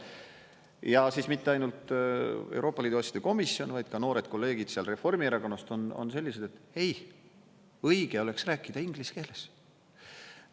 Ja siis mitte ainult Euroopa Liidu asjade komisjon, vaid ka noored kolleegid Reformierakonnast on sellised, et ei, õige oleks rääkida inglise keeles.